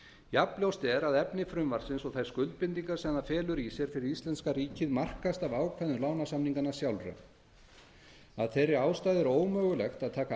jafnljóst er að efni frumvarpsins og þær skuldbindingar sem það felur í sér fyrir íslenska ríkið markast af ákvæðum lánasamninganna sjálfra af þeirri ástæðu er ómögulegt að taka